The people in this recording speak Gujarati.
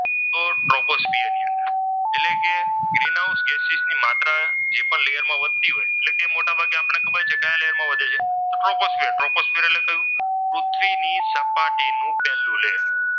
તો ટ્રાફોસ્ફિયર ની અંદર તો ટ્રોપોસ્ફિયર ની અંદર એટલે કે ગ્રીન હાઉસ ગેસીસ ની માત્રા એ પણ લેયરમાં વધતી હોય એટલે કે મોટાભાગની આપણને ખબર છે કયા લેયરમાં વધે છે તો કે ટ્રોપોસ્ફિયર ટ્રોપોસ્ફિયર એટલે કહ્યું તો કે પૃથ્વીની સપાટીનું પહેલું લેયર.